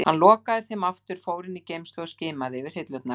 Hann lokaði þeim aftur, fór inn í geymslu og skimaði yfir hillurnar.